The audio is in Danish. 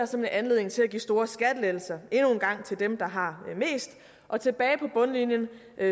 som en anledning til at give store skattelettelser endnu en gang til dem der har mest og tilbage på bundlinjen